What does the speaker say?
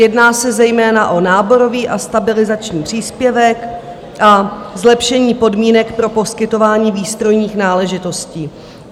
Jedná se zejména o náborový a stabilizační příspěvek a zlepšení podmínek pro poskytování výstrojních náležitostí.